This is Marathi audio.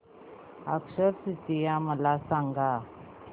अक्षय तृतीया मला सांगा